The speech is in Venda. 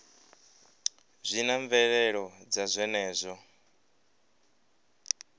zwi na mvelelo dza zwenezwo